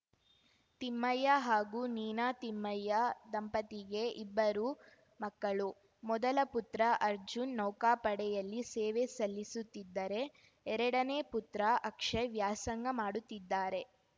ತಿಮ್ಮಯ್ಯ ಹಾಗೂ ನೀನಾ ತಿಮ್ಮಯ್ಯ ದಂಪತಿಗೆ ಇಬ್ಬರು ಮಕ್ಕಳು ಮೊದಲ ಪುತ್ರ ಅರ್ಜುನ್‌ ನೌಕಾಪಡೆಯಲ್ಲಿ ಸೇವೆ ಸಲ್ಲಿಸುತ್ತಿದ್ದರೆ ಎರಡನೇ ಪುತ್ರ ಅಕ್ಷಯ್‌ ವ್ಯಾಸಂಗ ಮಾಡುತ್ತಿದ್ದಾರೆ